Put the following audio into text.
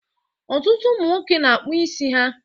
Ọtụtụ ụmụ nwoke na-akpụ isi ha